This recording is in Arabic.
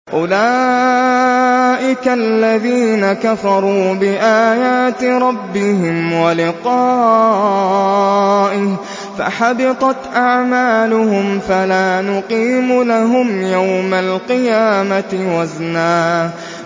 أُولَٰئِكَ الَّذِينَ كَفَرُوا بِآيَاتِ رَبِّهِمْ وَلِقَائِهِ فَحَبِطَتْ أَعْمَالُهُمْ فَلَا نُقِيمُ لَهُمْ يَوْمَ الْقِيَامَةِ وَزْنًا